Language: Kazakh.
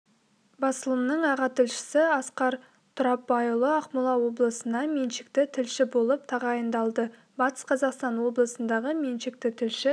басылымның аға тілшісі асқар тұрапбайұлы ақмола облысына меншікті тілші болып тағайындалды батыс қазақстан облысындағы меншікті тілші